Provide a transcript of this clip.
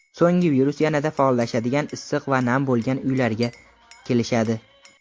So‘ng virus yanada faollashadigan issiq va nam bo‘lgan uylariga kelishadi.